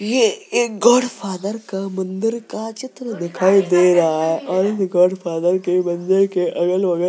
ये एक god father का मंदिर का चित्र दिखाई दे रहा है और ये गाड फादर के मंदिर के अगल - बगल --